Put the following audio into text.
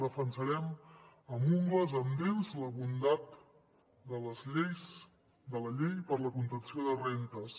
defensarem amb ungles amb dents la bondat de la llei per a la contenció de rendes